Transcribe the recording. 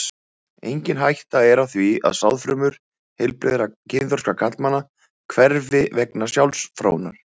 Engin hætta er á því að sáðfrumur heilbrigðra kynþroska karlmanna hverfi vegna sjálfsfróunar.